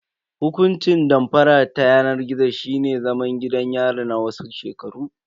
Hukuncin damfara ta yanar gizo shine zaman gidan yari na wasu shekaru.